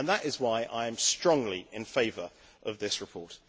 That is why I am strongly in favour of this report.